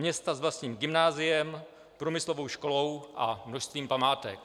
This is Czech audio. Města s vlastním gymnáziem, průmyslovou školou a množstvím památek.